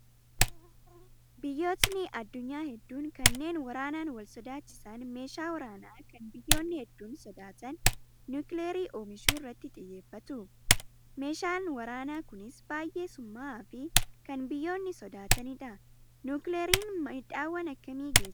Biyyootn addunyaa hedduun kanneen waraanaan wal sossodaachisan meeshaa waraanaa kan biyyoonni hedduun soaadatan niwukilarii oomishuu irratti xiyyeeffatu. Meeshaan waraanaa kunis baay'ee summaa'aa fi kan biyyoonni sodaatanidha. Niwukilariin maadhaawwan akkamii geessisaa?